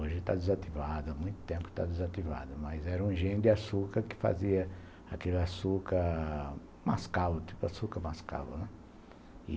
Hoje está desativado, há muito tempo que está desativado, mas era um engenho de açúcar que fazia aquele açúcar, mascavo, tipo açúcar mascavo, né?